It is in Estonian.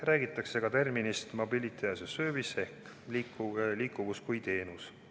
Räägitakse näiteks terminist mobility as a service ehk liikuvus kui teenus.